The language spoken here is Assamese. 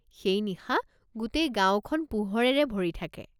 সেই নিশা গোটেই গাঁওখন পোহৰেৰে ভৰি থাকে।